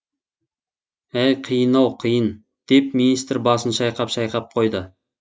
әй қиын ау қиын деп министр басын шайқап шайқап қойды